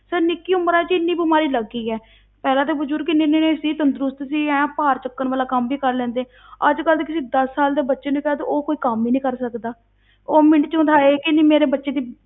Sir ਨਿੱਕੀ ਉਮਰਾਂ ਵਿੱਚ ਹੀ ਇੰਨੀ ਬਿਮਾਰੀ ਲੱਗ ਗਈ ਹੈ ਪਹਿਲਾਂ ਤੇ ਬਜ਼ੁਰਗ ਇੰਨੇ ਇੰਨੇ ਸੀ ਤੰਦਰੁਸਤ ਸੀ, ਐਂ ਭਾਰ ਚੁੱਕਣ ਵਾਲਾ ਕੰਮ ਵੀ ਕਰ ਲੈਂਦੇ ਅੱਜ ਕੱਲ੍ਹ ਤੇ ਕਿਸੇ ਦਸ ਸਾਲ ਦੇ ਬੱਚੇ ਨੂੰ ਕਹਿ ਦਓ, ਉਹ ਕੋਈ ਕੰਮ ਹੀ ਨੀ ਕਰ ਸਕਦਾ ਉਹ ਮਿੰਟ ਵਿੱਚ ਮੈਂ ਤਾਂ ਹਾਏ ਕਹਿਨੀ ਮੇਰੇ ਬੱਚੇ ਦੀ